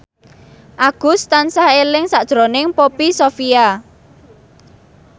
Agus tansah eling sakjroning Poppy Sovia